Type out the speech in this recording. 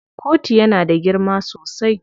Kotun yana da girma sosai.